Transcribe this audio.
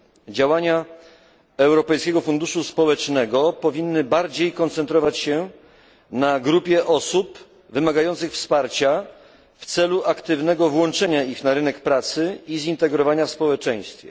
Działania Europejskiego Funduszu Społecznego powinny bardziej koncentrować się na grupie osób wymagających wsparcia w celu aktywnego włączenia ich na rynek pracy i zintegrowania w społeczeństwie.